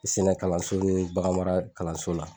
Sɛnɛ kalanso ni bagan mara kalanso la.